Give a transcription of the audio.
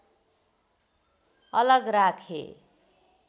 अलग राखे